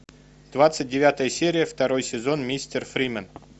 двадцать девятая серия второй сезон мистер фримен